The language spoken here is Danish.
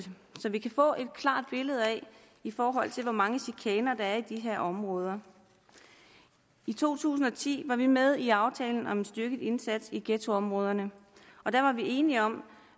så vi kan få et klart billede i forhold til hvor mange tilfælde af er i de her områder i to tusind og ti var vi med i aftalen om en styrket indsats i ghettoområderne og der var vi enige om